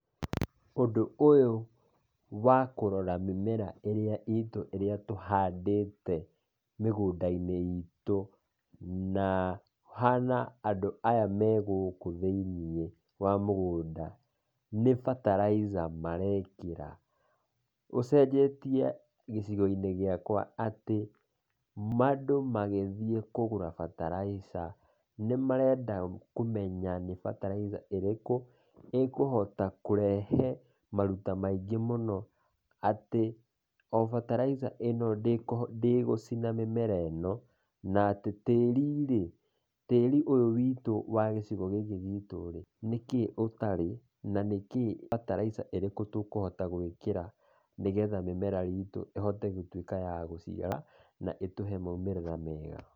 Ũndũ ũyũ wa kũrora mĩmera ĩrĩa itũ ĩrĩa tũhandĩte mĩgũnda-inĩ itũ, na kũhana andũ aya megũkũ thĩiniĩ wa mũgũnda nĩ fertilizer marekĩra. Ũcenjetie gĩcigo-inĩ gĩakwa atĩ, andũ magĩthiĩ kũgũra fertilizer nĩmarenda kũmenya nĩ fertilizer ĩrĩkũ ĩkũhota kũrehe maruta maingĩ mũno, atĩ o fertilizer ĩno ndĩgũcina mĩmera ĩno, na atĩ tĩri rĩ, tĩri ũyũ witũ wa gĩcigo gĩkĩ gitũ rĩ, nĩkĩ ũtarĩ, na nĩkĩ fertilizer ĩrĩkũ tũkũhota gwĩkĩra, nĩgetha mĩmera itũ ĩhote gũtuĩka ya gũciara, na ĩtũhe maumĩrĩra mega.